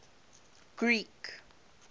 greek